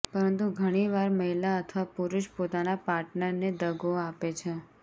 પરંતુ ઘણી વાર મહિલા અથવા પુરુષ પોતાના પાર્ટનર ને દગો આપે છે